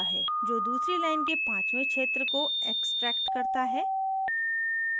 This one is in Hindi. जो दूसरी line के पांचवें क्षेत्र को extracts करता है